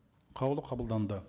қаулы қабылданды